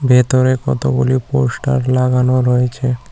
ভেতরে কতগুলি পোস্টার লাগানো রয়েছে।